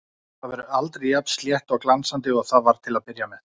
Það verður aldrei jafn slétt og glansandi og það var til að byrja með.